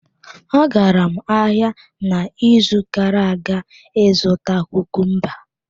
Agara m ahịa n'izu gara aga ịzụta kukumba.